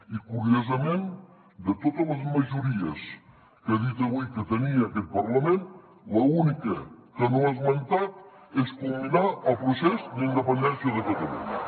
i curiosament de totes les majories que ha dit avui que tenia aquest parlament l’única que no ha esmentat és culminar el procés d’independència de catalunya